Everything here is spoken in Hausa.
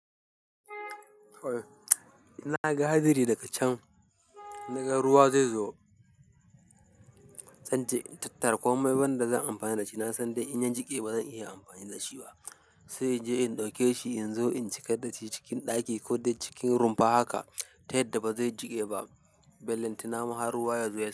In na ga hadari daga can, in naga ruwa zai zo. Zan je in tattara komai, ban da zan amfani da shi. Na san dai inyan jiƙe ba zan iya amfani da shi ba, sai in je in ɗauke shi in zo in cika dashi cikin ɗaki ko dai cikin rumfa haka ta yadda ba zai jiƙe ba. Bellantana ma har ruwa ya zo yasa.